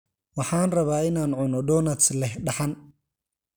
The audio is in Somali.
Waxaan rabaa in aan cuno donuts leh dhaxan.